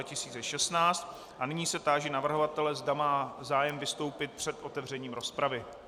A nyní se táži navrhovatele, zda má zájem vystoupit před otevřením rozpravy.